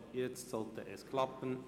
Jetzt sollte es klappen.